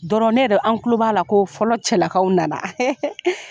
Dɔrɔn an k.ulo b'a la ko fɔlɔ cɛlakaw nana